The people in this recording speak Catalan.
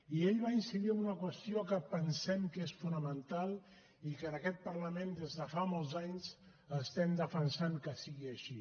i ell va incidir en una qüestió que pensem que és fonamental i que en aquest parlament des de fa molts anys estem defensant que sigui així